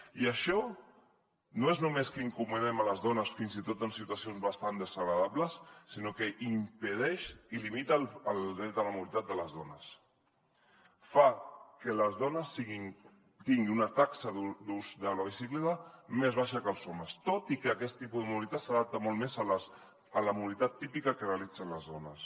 i això no és només que incomodem les dones fins i tot en situacions bastant desagradables sinó que impedeix i limita el dret a la mobilitat de les dones fa que les dones tinguin una taxa d’ús de la bicicleta més baixa que els homes tot i que aquest tipus de mobilitat s’adapta molt més a la mobilitat típica que realitzen les dones